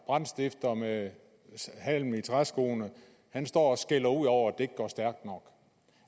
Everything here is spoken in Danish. brandstifter med halm i træskoene står og skælder ud over